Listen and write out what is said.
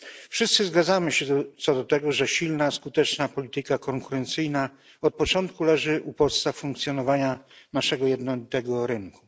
Wszyscy zgadzamy się co do tego, że silna, skuteczna polityka konkurencyjna od początku leży u podstaw funkcjonowania naszego jednolitego rynku.